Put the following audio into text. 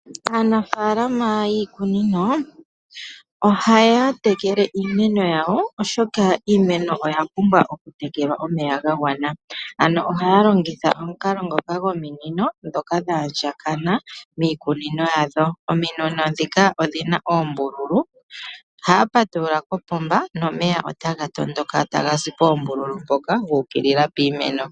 Aanafalama yiikunino ohaya tekele iimeno yawo oshoka iinemo oya pumbwa okutekelwa omeya gagwana. Ano ohaya longitha omukala ngoka gominino dhoka dha handjakana miikunino yadho. Ominino dhika odhina oombululu, ohaya patulula kopomba, nomeya otaga tondoka tagazi poombululu mpoka guukilila piimeno.